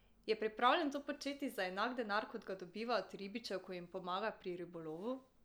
Je pripravljen to početi za enak denar, kot ga dobiva od ribičev, ko jim pomaga pri ribolovu?